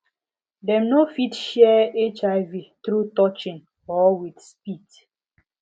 dem no fit share hiv through touching or with spit